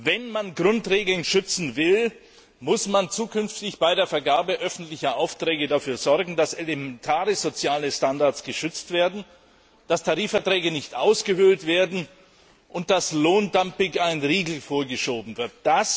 Wenn man Grundregeln schützen will, muss man zukünftig bei der Vergabe öffentlicher Aufträge dafür sorgen, dass elementare soziale Standards geschützt werden, dass Tarifverträge nicht ausgehöhlt werden und dass Lohndumping ein Riegel vorgeschoben wird.